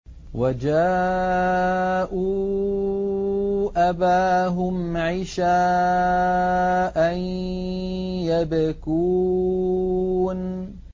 وَجَاءُوا أَبَاهُمْ عِشَاءً يَبْكُونَ